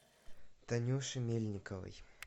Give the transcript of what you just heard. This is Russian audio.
танюши мельниковой